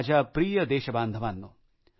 माझ्या प्रिय देशबांधवांनो